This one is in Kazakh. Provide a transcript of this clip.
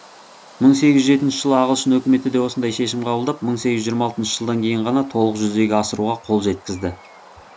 мың сегіз жүз жетінші жылы ағылшын өкіметі де осындай шешім қабылдап мың сегіз жүз жиырма алтыншы жылдан кейін ғана толық жүзеге асыруға қол жеткізді